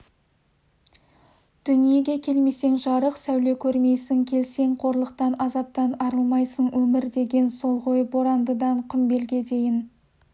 дүниеге келмесең жарық сәуле көрмейсің келсең қорлықтан азаптан арылмайсың өмір деген сол ғой борандыдан құмбелге дейін